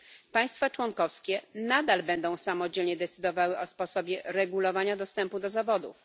Państwa członkowskie nadal będą samodzielnie decydowały o sposobie regulowania dostępu do zawodów.